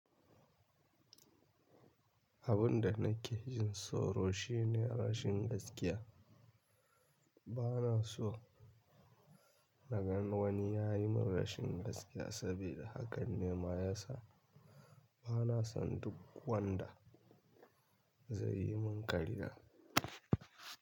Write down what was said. Abun da nake jin tsoro shi ne rashin gaskiya. Bana so na gan wani ya yi min rashin gaskiya, sabida haka ne ma ya sa bana son duk wanda zai yi min ƙarya.